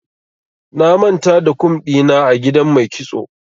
Na manta da kum ɗina a gidan mai kitso.